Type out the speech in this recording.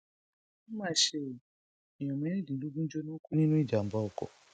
ó mà ṣe o èèyàn mẹrìndínlógún jóná kú nínú ìjàmbá ọkọ